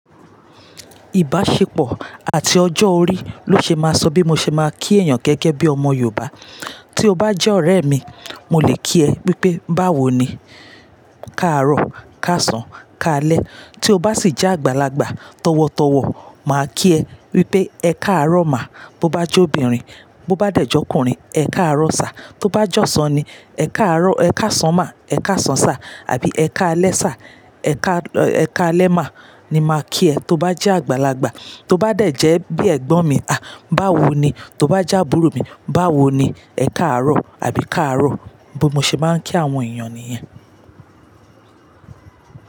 Ìbáṣepọ̀ àti ọjọ́ orí ló ṣe máa sọ bí mo ṣe máa kí èèyàn gẹ́gẹ́ bí ọmọ Yorùbá. Tí o bá jẹ́ ọ̀rẹ́ mi, mo lè kí ẹ pé, "báwo ni, káàárọ̀, káàsán, káálẹ́." Tí o bá sì jẹ́ àgbàlagbà, tọ̀wọ̀tọ̀wọ̀ máa kí ẹ wípé, "ẹ káàárọ̀ má," bó bá jẹ́ obìnrin. Bó bá dẹ̀ jẹ́ ọkùnrin, "Ẹ káàárọ̀ sá." Tó bá jọ́sàn ni, e kaaro "Ẹ káàsán má, ẹ káàsán sá, àbí ẹ káálẹ́ sá, ẹ káálẹ́ má," ni máa kí ẹ. Tí o bá jẹ́ àgbàlagbà, tí o bá dẹ̀ jẹ́ bí ẹ̀gbọ́n mi, "a báwo ni?" Tí o bá jẹ́ àbúrò mi, "báwo ni? Ẹ káàárọ̀, àbí káàárọ̀," bí mo ṣe máa ń kí àwọn èèyàn nìyen.